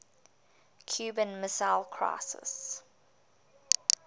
cuban missile crisis